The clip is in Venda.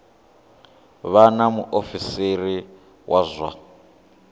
vha na muofisiri wa zwa